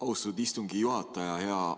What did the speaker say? Austatud istungi juhataja!